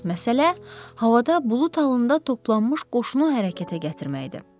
Əsas məsələ havada bulud halında toplanmış qoşunu hərəkətə gətirməkdir.